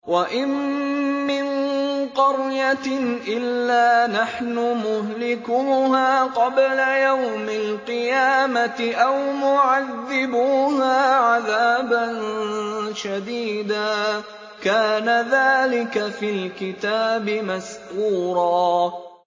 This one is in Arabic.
وَإِن مِّن قَرْيَةٍ إِلَّا نَحْنُ مُهْلِكُوهَا قَبْلَ يَوْمِ الْقِيَامَةِ أَوْ مُعَذِّبُوهَا عَذَابًا شَدِيدًا ۚ كَانَ ذَٰلِكَ فِي الْكِتَابِ مَسْطُورًا